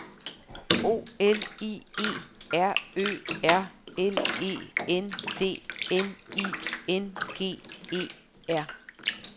O L I E R Ø R L E D N I N G E R